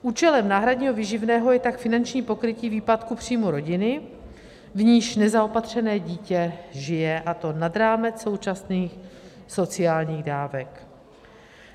Účelem náhradního výživného je tak finanční pokrytí výpadku příjmů rodiny, v níž nezaopatřené dítě žije, a to nad rámec současných sociálních dávek.